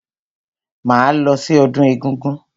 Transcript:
Máa lọ sí ọdún egúngún.